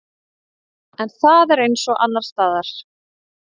En það er eins og annarsstaðar.